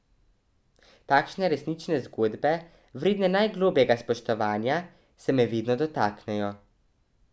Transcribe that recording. Takšne resnične zgodbe, vredne najglobljega spoštovanja, se me vedno dotaknejo.